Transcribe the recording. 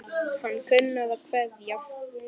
Hann kunni að kveðja.